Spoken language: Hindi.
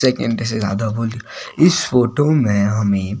सेकेंड से राधा बोली इस फोटो में हमें--